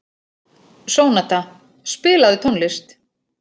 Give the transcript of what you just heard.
Sónata, spilaðu tónlist.